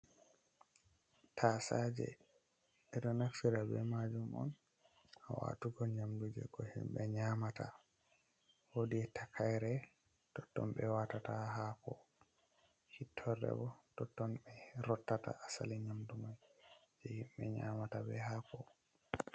Tasaaje. Ɓe ɗo naftira be maajum on haa waatugo nyamdu je ko himɓe nyaamata, woodi takaire totton ɓe waatata haako. Hittorde bo totton ɓe rottata asali nyamdu man je himɓe nyaamata be haako.